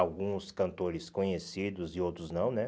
Alguns cantores conhecidos e outros não, né?